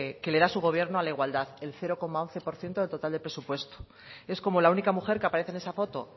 que le da su gobierno a la igualdad el cero coma once por ciento del total de presupuesto es como la única mujer que aparece en esa foto